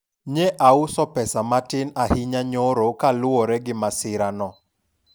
nye auso pesa matin ahinya nyoro kaluwore gi masira no